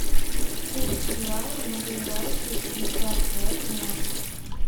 курс реала на ближайшие пятьдесят пять дня